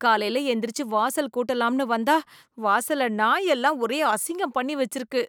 காலையில எந்திரிச்சு வாசல் கூட்டலாம்னு வந்தா வாசல்ல நாய் எல்லாம் ஒரே அசிங்கம் பண்ணி வச்சிருக்கு